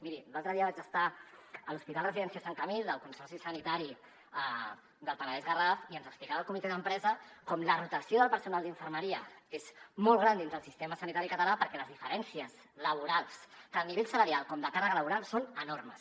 miri l’altre dia vaig estar a l’hospital residència sant camil del consorci sanitari del penedès garraf i ens explicava el comitè d’empresa com la rotació del personal d’infermeria és molt gran dins del sistema sanitari català perquè les diferències laborals tant a nivell salarial com de càrrega laboral són enormes